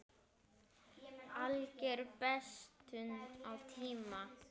Alger bestun á tíma.